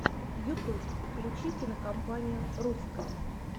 ютуб включи кинокомпанию русское